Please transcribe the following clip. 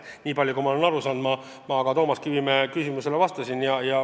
Nii palju, kui ma olen asjast aru saanud, ma ka Toomas Kivimäe küsimusele vastasin.